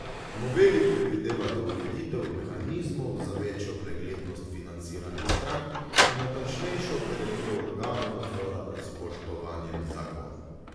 Noveli predvidevata ureditev mehanizmov za večjo preglednost financiranja strank in natančnejšo opredelitev organov nadzora nad spoštovanjem zakona.